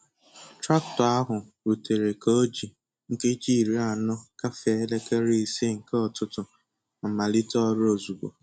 Traktọ ahụ rutere ka o ji nkeji iri anọ gafee elekere ise nke ụtụtụ ma malite ọrụ ozugbo.